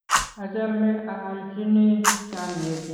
achame a alchini chamyet nyu tuguk